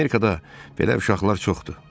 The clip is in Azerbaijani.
Amerikada belə uşaqlar çoxdur.